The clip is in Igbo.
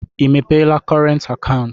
I mepeela kọrent akaụntụ?